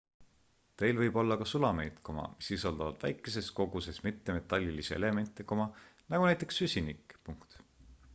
teil võib olla ka sulameid mis sisaldavad väikeses koguses mittemetallilisi elemente nagu näiteks süsinik